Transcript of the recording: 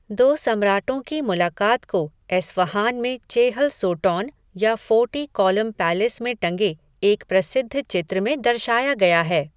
दो सम्राटों की मुलाकात को एस्फ़हान में चेहल सोटॉन या फ़ोर्टी कॉलम पैलेस में टंगे एक प्रसिद्ध चित्र में दर्शाया गया है।